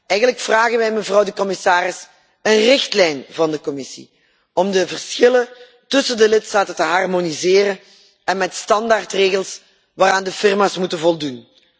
Eigenlijk vragen wij, mevrouw de commissaris, een richtlijn van de Commissie om de verschillen tussen de lidstaten te harmoniseren en met standaardregels waaraan de firma's moeten voldoen.